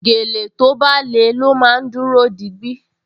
Gèlè tó bá le ló máa dúró digbí